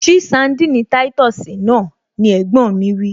Ṣí sandini táìtọ̀sì náà! ni ẹ̀gbọ́n mi wí